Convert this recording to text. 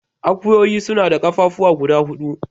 Akuyoyi suna da ƙafafuwa guda hudu.